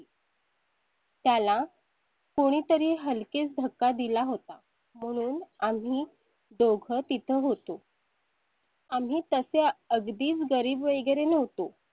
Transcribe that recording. त्याला कुणीतरी हलकेच धक्का दिला होता म्हणून आम्ही दोघं तिथं होतो आम्ही तसे अगदीच गरीब वगैरे नव्हतो.